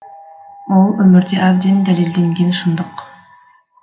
ол өмірде әбден дәлелденген шындық